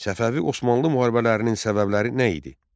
Səfəvi-Osmanlı müharibələrinin səbəbləri nə idi?